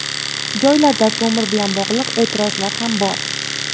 Joylarda ko‘mir bilan bog‘liq e’tirozlar ham bor.